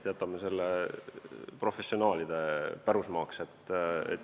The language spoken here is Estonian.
Jätame selle professionaalide pärusmaaks.